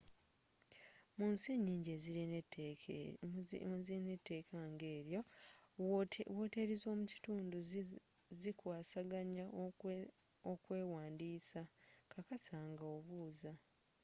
munsi nyingi ezirina eteeka ng’eryo woteeri z'omu kitundu zikwasaganya okwewandiisa kkakasa nga obuuza